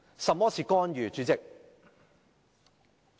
甚麼是"干預"，主席？